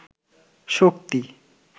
শক্তি